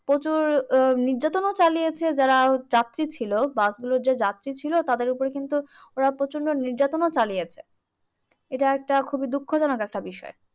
প্রচুর আহ নির্যাতনও চালিয়েছে যারা যাত্রী ছিল বাসগুলোর যে যাত্রী ছিল তাদের ওপরে কিন্তু ওরা প্রচন্ড নির্যাতনও চালিয়েছে। এইটা একটা খুবই দুঃখজনক একটা বিষয়।